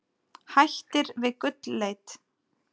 Hættir við gullleit